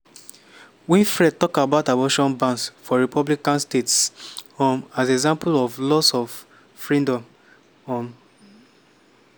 winfrey tok about abortion bans for republican states um as example of loss of freedom. um